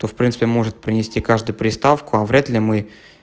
то в принципе может принести каждый приставку а вряд ли мы